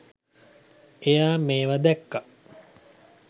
එයා මේව දැක්ක